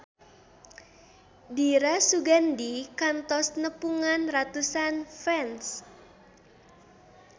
Dira Sugandi kantos nepungan ratusan fans